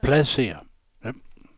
pladsér